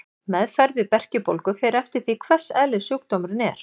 Meðferð við berkjubólgu fer eftir því hvers eðlis sjúkdómurinn er.